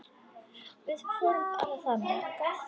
Við förum bara þangað!